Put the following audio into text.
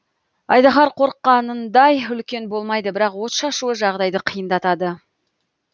айдаһар қорыққанындай үлкен болмайды бірақ от шашуы жағдайды қиындатады